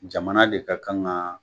Jamana de ka kan ga